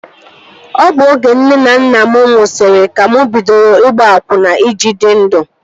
Ọ bụ oge nne na nna mụ nwụsịrị ka mụ bidoro ịgba akwụna I ji dị ndụ